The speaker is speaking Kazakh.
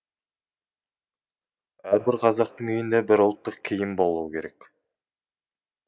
әрбір қазақтың үйінде бір ұлттық киім болуы керек